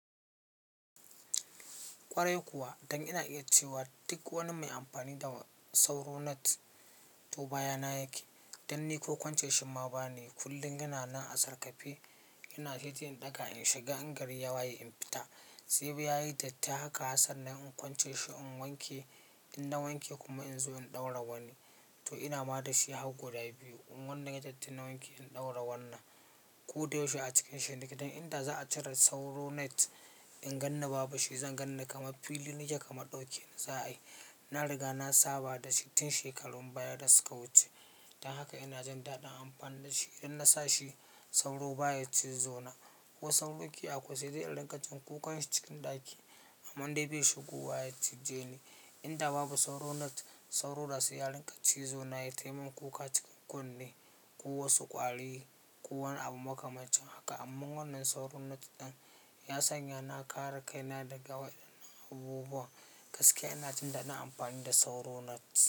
Ƙwarai kuwa, don ina iya cewa duk wani mai amfani da sauro net to bayana yake. Dan ni ko ƙwance shin ma ba nayi. Kullum yana nan a sarƙafe, yana cikin ɗaka in shiga, in gari ya waye in fita. Sai ya yi datti haka, hatsar na in ƙwance shi in wanke. In na wanke kuma in zo in ɗaura wani. To ina ma da shi har goda biyu. In wanda ya datti na wanke in ɗaura wannan. Ko da yaushe a cikin shi. Dan inda za'a cire sauro net, in ganni babu shi, zan ganni kamar fili nake kamar daukeni za'ayi na riga na saba da shi tun shekarun baya da suka wuce. Don haka ina jin daɗin amfani da shi. Idan na sa shi sauro baya cizo na. Ko sauro ke akwai sai dai in rinka jin kukan shi cikin ɗaki, amman dai bai shigowa ya cije ni. Inda babu sauro net, sauro da sai ya rinka cizo na yai tai min kuka cikin kunne, ko wasu ƙwari, ko wani abu makamancin haka. Domin wannan sauro net din, ya sanya na kare kaina daga wannan abubuwan. Gaskiya ina jin daɗin amfani da sauro net.